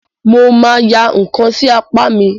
Mo máa ya ǹkan sí apá mi.